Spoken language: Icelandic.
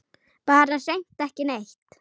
Bara hreint ekki neitt.